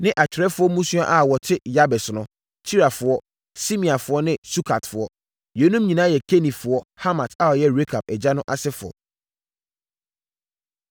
ne atwerɛfoɔ mmusua a wɔte Yabes no, Tirafoɔ, Simeafoɔ ne Sukatfoɔ. Yeinom nyinaa yɛ Kenifoɔ, Hamat a ɔyɛ Rekab agya no asefoɔ.